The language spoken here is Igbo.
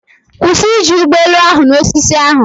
Kwụsị iji ụgbọ elu ahụ na osisi ahụ!.